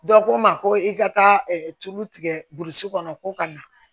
Dɔ ko n ma ko i ka taa tulu tigɛ burusu kɔnɔ ko ka na